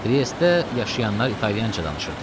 Triestdə yaşayanlar italyanca danışırdılar.